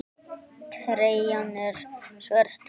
Treyjan er svört.